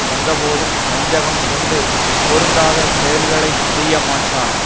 வந்தபோதும் வஞ்சகம் கொண்டு பொருந்தாத செயல்களை செய்யமாட்டார்